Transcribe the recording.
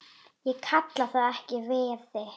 Ég kalla það ekki veiði.